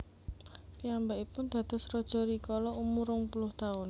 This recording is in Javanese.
Piyambakipun dados raja rikala umur rong puluh taun